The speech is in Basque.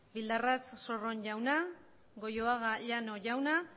bildarratz sorron jauna goioaga llano jauna